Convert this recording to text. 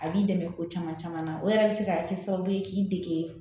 A b'i dɛmɛ ko caman caman na o yɛrɛ bɛ se ka kɛ sababu ye k'i dege